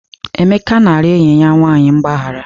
Emeka na-arịọ enyi ya nwanyị mgbaghara.